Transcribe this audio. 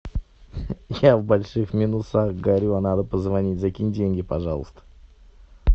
я в больших минусах горю надо позвонить закинь деньги пожалуйста